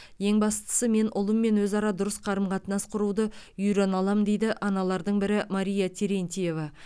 ең бастысы мен ұлыммен өзара дұрыс қарым қатынас құруды үйрене аламын дейді аналардың бірі мария терентьева